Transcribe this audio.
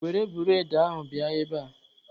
Were bụredị ahụ bịa ebea!